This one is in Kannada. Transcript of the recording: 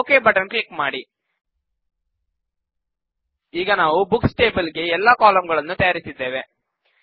ಈಗ ಓಕೆ ಬಟನ್ ಕ್ಲಿಕ್ ಮಾಡಿಈಗ ನಾವು ಬುಕ್ಸ್ ಟೇಬಲ್ ಗೆ ಎಲ್ಲಾ ಕಾಲಂ ಗಳನ್ನು ತಯಾರಿಸಿದ್ದೇವೆ